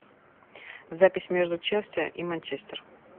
запись между челси и манчестер